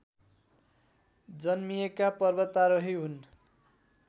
जन्मिएका पर्वतारोही हुन्